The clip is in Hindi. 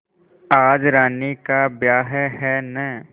आज रानी का ब्याह है न